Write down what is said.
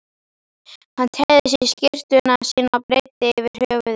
Hann teygði sig í skyrtuna sína og breiddi yfir höfuð.